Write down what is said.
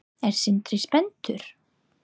Er Sindri spenntur?